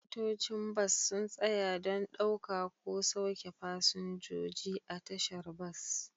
Motocin bas sun tsaya don ɗauka ko sauke fasinjoji a tashar bas